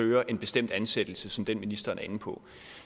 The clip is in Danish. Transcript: søger en bestemt ansættelse som den ministeren er inde på